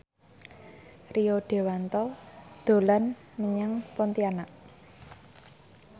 Rio Dewanto dolan menyang Pontianak